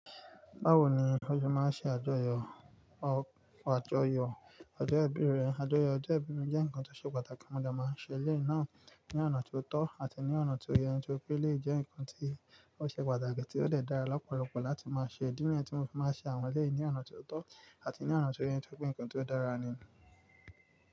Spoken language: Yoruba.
Báwo ni o ṣé máa ń ṣe àjọyọ̀ ọ àjọyọ̀ ọjọ́ ìbí rẹ? Àjọyọ̀ ọjọ́ ìbí jẹ́ nǹkan tó ṣe pàtàkì, mo dẹ̀ máa ń ṣe elé náà ní ọ̀nà tó tọ́ àti ní ọ̀nà tó yẹ, nítorí pé elé jẹ́ nǹkan tó ṣe pàtàkì tí ó dẹ̀ dára lọ́pọ̀lọpọ̀ láti máa ṣe. Idi niyẹn ti mo fi máa ń ṣe àwọn elé ní ọ̀nà tó tọ́ àti ní ọ̀nà tó yẹ, torípé nǹkan tó dára ni.